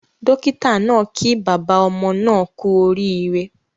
Dókítà naa kí bàbá ọmọ naa kú orí ire